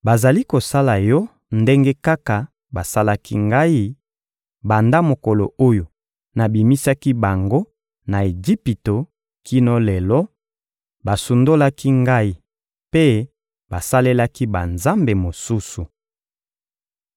Bazali kosala yo ndenge kaka basalaki Ngai, banda mokolo oyo nabimisaki bango na Ejipito kino lelo: basundolaki Ngai mpe basalelaki banzambe mosusu.